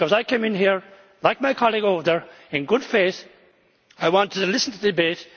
I came in here, like my colleague over there, in good faith. I wanted to listen to the debate